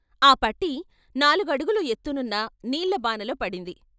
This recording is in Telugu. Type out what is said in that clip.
ఆ పట్టీ నాలుగడుగులు ఎత్తునున్న నీళ్ళ బానలో పడింది.